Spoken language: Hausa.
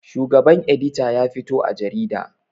Shugaban edita ya fito a jarida